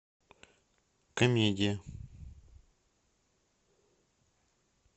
комедия